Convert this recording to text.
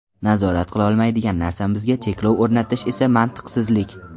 Nazorat qilolmaydigan narsamizga cheklov o‘rnatish esa mantiqsizlik.